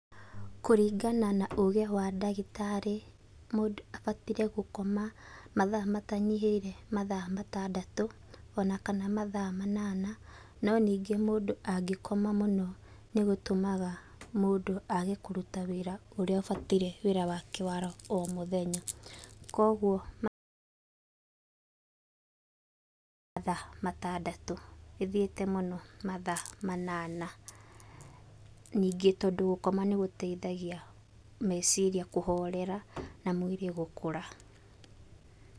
Kũringana na ũgĩ wa ndagĩtarĩ, mũndũ abataire gũkoma mathaa matanyihĩire mathaa matandatũ, ona kana mathaa manana. No ningĩ mũndũ angĩkoma mũno nĩgũtũmaga mũndũ age kũruta wĩra ũrĩa ũbataire wĩra wake wara o mũthenya. Kuoguo, ,mathaa matandatũ. Ĩthiĩte mũno mathaa manana. Ningĩ tondũ gũkoma nĩgũteithagia meciria kũhorera, na mwĩrĩ gũkũra.